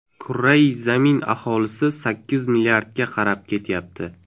Kurrai zamin aholisi sakkiz milliardga qarab ketyapti.